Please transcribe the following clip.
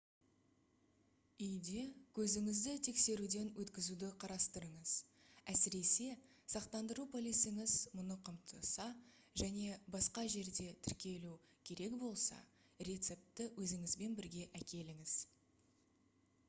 үйде көзіңізді тексеруден өткізуді қарастырыңыз әсіресе сақтандыру полисіңіз мұны қамтыса және басқа жерде тіркелу керек болса рецептті өзіңізбен бірге әкеліңіз